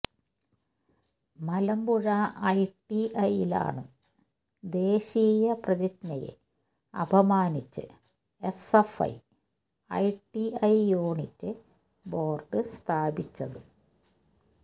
മലമ്പുഴ ഐടിഐയിലാണ് ദേശീയ പ്രതിജ്ഞയെ അപമാനിച്ച് എസ്എഫ്ഐ ഐടിഐ യൂണിറ്റ് ബോര്ഡ് സ്ഥാപിച്ചത്